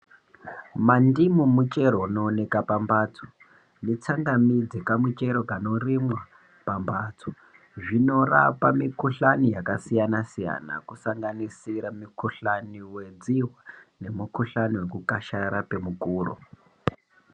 Mandimu muchero unooneka pamhatso netsangamidzi kamuchero kanorimwa pamhatso, zvinorapa mikuhlani yakasiyana siyana kusanganisira mukhihlani wedzihwa nemukuhlani wekukasharara kwemukuro.